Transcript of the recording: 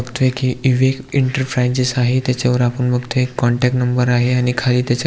बगतोय की ईविक एंटरप्राइजेस आहे त्याच्यावर आपण बगतोय एक कॉनटॅक्ट नंबर आहे आणि खाली त्याच्या --